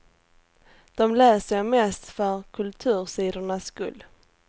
Dom läser jag mest för kultursidornas skull.